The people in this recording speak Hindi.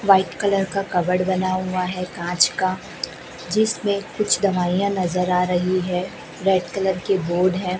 व्हाइट कलर का कवर्ड बना हुआ है कांच का जिसमें कुछ दवाइयां नजर आ रही है रेड कलर के बोर्ड है।